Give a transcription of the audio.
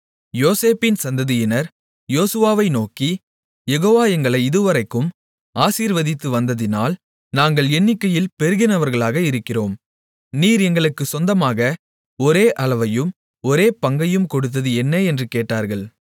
யோசேப்பின் சந்ததியினர் யோசுவாவை நோக்கி யெகோவா எங்களை இதுவரைக்கும் ஆசீர்வதித்து வந்ததினால் நாங்கள் எண்ணிக்கையில் பெருகினவர்களாக இருக்கிறோம் நீர் எங்களுக்குச் சொந்தமாக ஒரே அளவையும் ஒரே பங்கையும் கொடுத்தது என்ன என்று கேட்டார்கள்